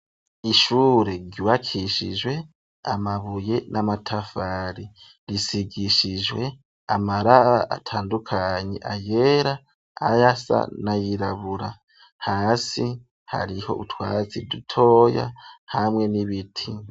Ishure ryubakishijwe amabuye n'amatafari risigishijwe amabara atandukanye : ayera, ayasa n'ayirabura, hasi hariho utwatsi dutoya hamwe n'ibiti.